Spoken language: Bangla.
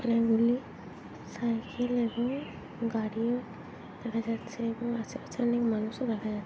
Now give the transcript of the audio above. অনেকগুলি সাইকেল এবং গাড়িও দেখা যাচ্ছে এবং আশেপাশে অনেক মানুষও দেখা যা--